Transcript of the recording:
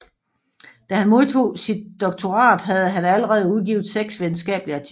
Da han modtog sit doktorat havde han allerede udgivet seks videnskabelige artikler